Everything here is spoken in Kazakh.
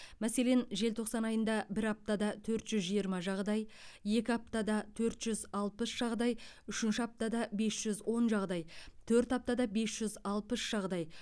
мәселен желтоқсан айында бір аптада төрт жүз жиырма жағдай екі аптада төрт жүз алпыс жағдай үшінші аптада бес жүз он жағдай төрт аптада бес жүз алпыс жағдай